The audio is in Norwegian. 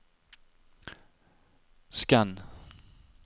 skann